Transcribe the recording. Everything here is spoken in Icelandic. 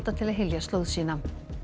til að hylja slóð sína